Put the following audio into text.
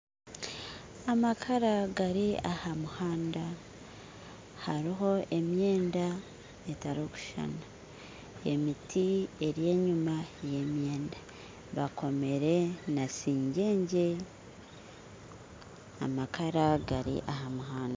Amakara gari aha muhanda , hariho emyenda etarukushushana, emiti eri enyuma yemyenda bakomire na singyengye amakara gari aha muhanda.